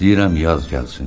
İstəyirəm yaz gəlsin.